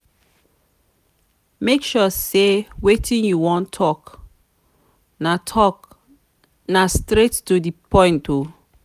make sure sey wetin you wan tok na tok na straight to di point o.